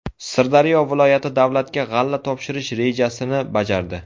Sirdaryo viloyati davlatga g‘alla topshirish rejasini bajardi.